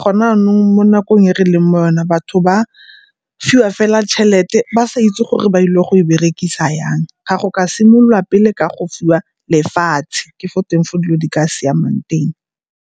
Gone yanong mo nakong e re leng mo go yone batho ba fiwa fela tšhelete ba sa itse gore ba ile go e berekisa yang. Ga go ka simololwa pele ka go fiwa lefatshe ke fo teng fo dilo di ka siamang teng.